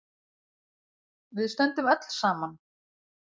Við stöndum öll saman.